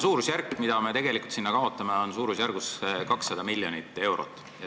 See raha, mis me sinna kaotame, on suurusjärgus 200 miljonit eurot.